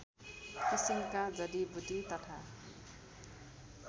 किसिमका जडिबुटी तथा